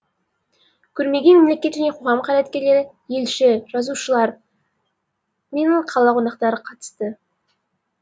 көрмеге мемлекет және қоғам қайраткерлері елші жазушылар мен қала қонақтары қатысты